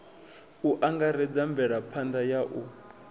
u angaredza mvelaphanḓa ya u